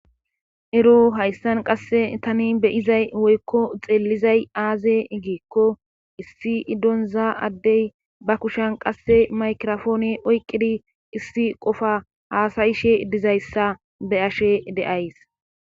Ero hayssan qasse tani beyizay woykko xeellizay aaze giekko issi idonza addey ba kushan qasse maykrofoone oyqqidi issi qofa haasayishe dizayssa be ashe deays.